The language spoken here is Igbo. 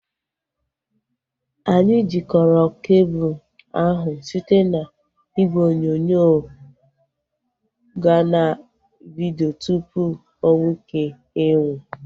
Anyị jikọrọ kebul ahu site n'igwe onyonyo gaa na vidio tupu onweike ịnwụ